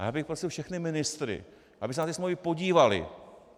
A já bych prosil všechny ministry, aby se na ty smlouvy podívali.